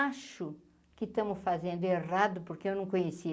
Acho que estamos fazendo errado porque eu não conheci.